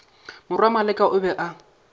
morwa maleka o be a